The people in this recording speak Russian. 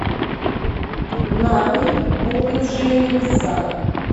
нарой бухнувшие небеса